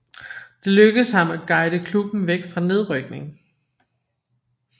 Det lykkedes ham at guide klubben væk fra nedrykning